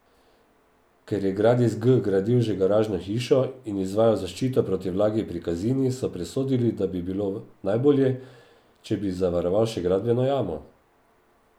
Ker je Gradis G gradil že garažno hišo in izvajal zaščito proti vlagi pri Kazini, so presodili, da bi bilo najbolje, če bi zavaroval še gradbeno jamo.